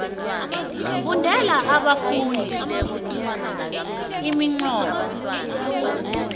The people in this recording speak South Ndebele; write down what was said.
fundela abafundi iminqopho